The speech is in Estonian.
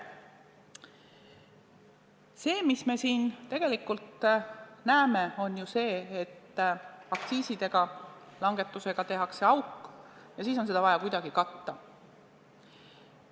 Kuulge, see, mida me siin tegelikult näeme, on ju see, et aktsiiside langetusega tehakse eelarvesse auk ja siis on seda vaja kuidagi täita.